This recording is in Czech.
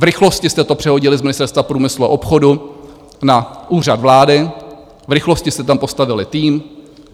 V rychlosti jste to přehodili z Ministerstva průmyslu a obchodu na Úřad vlády, v rychlosti jste tam postavili tým.